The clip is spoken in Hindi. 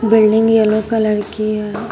बिल्डिंग येलो कलर की है।